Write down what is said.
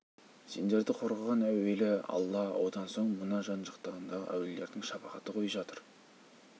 сендерді қорғаған әуелі алла одан соң мына жан-жағыңдағы әулиелердің шапағаты ғой жатыр